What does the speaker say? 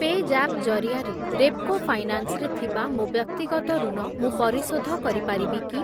ପେଜାପ୍ ଜରିଆରେ ରେପ୍‌କୋ ଫାଇନାନ୍ସ୍ ରେ ଥିବା ମୋ ବ୍ୟକ୍ତିଗତ ଋଣ ମୁଁ ପରିଶୋଧ କରିପାରିବି କି?